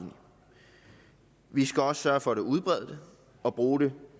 vi skal også sørge for at udbrede det og bruge det